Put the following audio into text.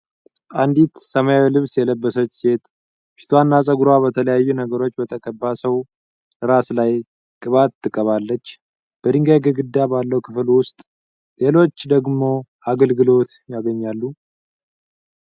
አንዲት ሰማያዊ ልብስ የለበሰች ሴት ፊቷ እና ፀጉሯ በተለያዩ ነገሮች በተቀባ ሰው ራስ ላይ ቅባት ትቀባለች በድንጋይ ግድግዳ ባለው ክፍል ውስጥ ሌሎች ደግሞ አገልግሎት ያገኛሉ።